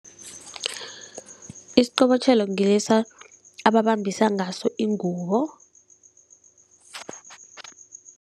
Isiqobotjhelo ngilesa ababambisa ngaso ingubo.